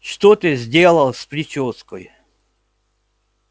что ты сделал с причёской